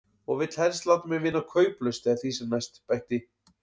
Og vill helst láta mig vinna kauplaust eða því sem næst, bætti